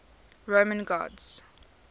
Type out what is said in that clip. roman gods